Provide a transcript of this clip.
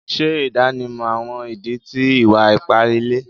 Ṣe idanimọ awọn idi ti iwa-ipa ile